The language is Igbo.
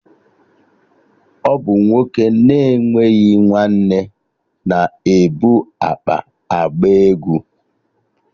Ọ bụ nwoke na-enweghị nwanne na ebu akpa agba egwu